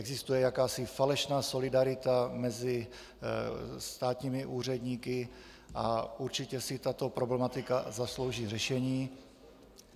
Existuje jakási falešná solidarita mezi státními úředníky a určitě si tato problematika zaslouží řešení.